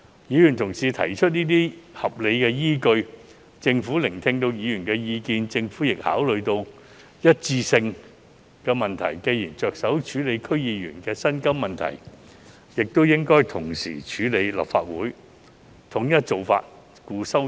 議員同事提出這些合理依據，政府亦聆聽議員的意見，並考慮到"一致性"的問題，既然着手處理區議員的薪酬問題，也應同時處理立法會議員的薪酬問題，統一做法，故此提出修正案。